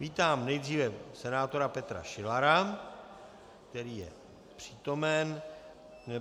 Vítám nejdříve senátora Petra Šilara , který je přítomen.